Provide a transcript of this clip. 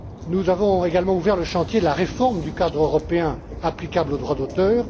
Nous avons également ouvert le chantier de la réforme du cadre européen applicable au droit d'auteur.